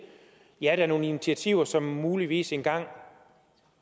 ja der er nogle initiativer som muligvis engang